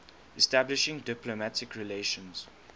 establishing diplomatic relations